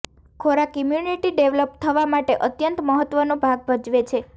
ખોરાક immunity develop થવા માટે અત્યંત મહત્વનો ભાગ ભજવે છે